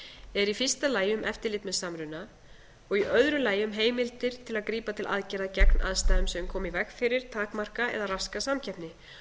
eru í fyrsta lagi um eftirlit með samruna og í öðru lagi um heimildir til að grípa til aðgerða gegn aðstæðum sem dæma í veg fyrir takmarka eða raska samkeppni